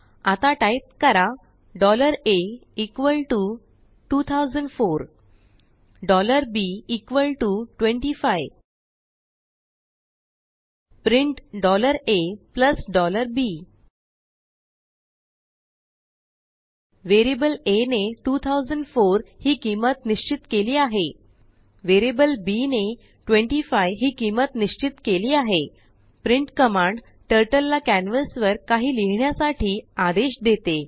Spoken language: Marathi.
आता टाईप करा a 2004 b 25 print a b वेरिअबलaने 2004हि किंमत निश्चित केली आहे वेरिअबलbने 25हि किंमत निश्चित केली आहे printकमांडटर्टलला कॅनवासवर काहीलिहिण्यासाठी आदेशदेते